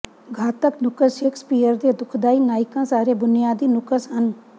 ਘਾਤਕ ਨੁਕਸ ਸ਼ੇਕਸਪੀਅਰ ਦੇ ਦੁਖਦਾਈ ਨਾਇਕਾਂ ਸਾਰੇ ਬੁਨਿਆਦੀ ਨੁਕਸ ਹਨ